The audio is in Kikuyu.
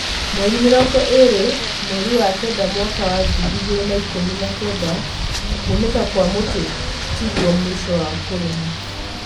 Mwerĩ mĩrongo ĩrĩ mwerĩ wa Kenda mwaka wa ngirĩ igĩrĩ na ikũmi na kenda, kuunĩka Kwa mũti tiguo mũico wa kũrĩma.